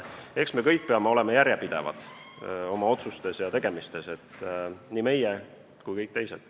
Eks me kõik peame olema järjepidevad oma otsustes ja tegemistes – nii meie kui ka kõik teised.